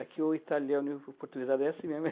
É que o italiano e o o portuguesado é assim mesmo.